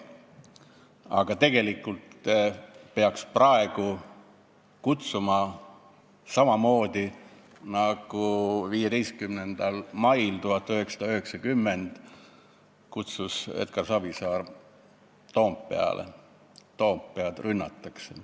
Aga tegelikult peaks praegu inimesi kutsuma Toompeale samamoodi, nagu seda tegi 15. mail 1990 Edgar Savisaar: "Toompead rünnatakse!